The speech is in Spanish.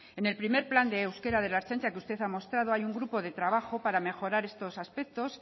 en el primer plan de euskera de la ertzaintza que usted ha mostrado hay un grupo de trabajo para mejorar estos aspectos